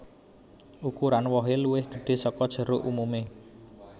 Ukuran wohè luwih gedhè saka jeruk umumè